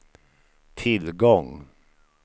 tillgång